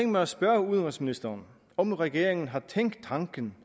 mig at spørge udenrigsministeren om regeringen har tænkt tanken